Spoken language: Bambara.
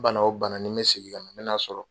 Bana o bana ni bɛ sigi yan, n bɛ n'a sɔrɔ.